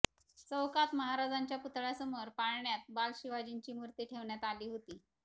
चौकात महाराजांच्या पुतळ्यासमोर पाळण्यात बाल शिवाजींची मुर्ती ठेवण्यात आली होती